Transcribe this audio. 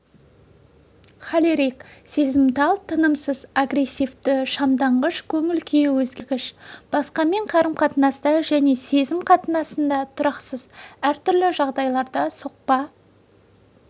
холерик сезімтал тынымсыз агрессивті шамданғыш көңіл-күйі өзгергіш басқамен қарым-қатынаста және сезім қатынасында тұрақсыз әр түрлі жағдайларда соқпа